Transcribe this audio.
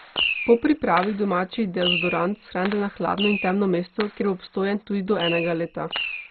Po pripravi domači dezodorant shranite na hladno in temno mesto, kjer bo obstojen tudi do enega leta.